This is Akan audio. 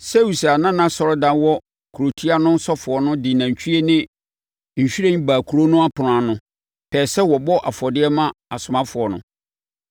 Seus a na nʼasɔredan wɔ kurotia no ɔsɔfoɔ de nantwie ne nhwiren baa kuro no ɛpono ano, pɛɛ sɛ wɔbɔ afɔdeɛ ma asomafoɔ no.